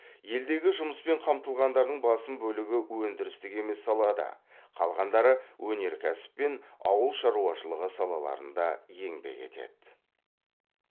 елдегі жұмыспен қамтылғандардың басым бөлігі өндірістік емес салада қалғандары өнеркәсіп пен ауыл шаруашылығы салаларында еңбек етеді